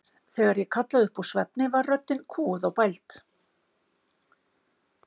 Þegar ég kallaði upp úr svefni var röddin kúguð og bæld.